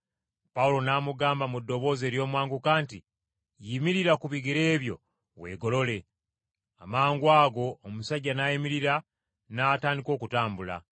Pawulo n’amugamba mu ddoboozi ery’omwanguka nti, “Yimirira ku bigere byo, weegolole!” Amangwago omusajja n’ayimirira, n’atandika okutambula!